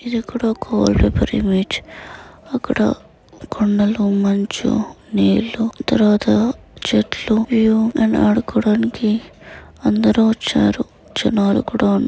ఇది ఒక గోల్డబెరి బీచ్ . అక్కడ కొండలు మంచు నీళ్లు తరువాత చెట్లు ఏవో ఆడుకోడానికి అందరూ వచ్చారు. జనాలు కూడా ఉం--